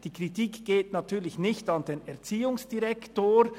Die Kritik geht natürlich nicht an den Erziehungsdirektor.